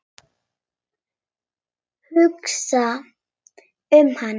Hugsa um hann.